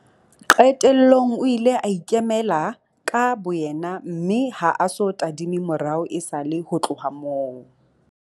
Qetellong o ile a ikemela ka boyena mme ha a so tadime morao esale ho tloha moo.